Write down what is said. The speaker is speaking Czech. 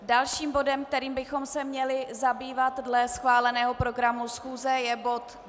Dalším bodem, kterým bychom se měli zabývat dle schváleného programu schůze, je bod